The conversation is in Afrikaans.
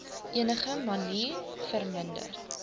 enige manier verminder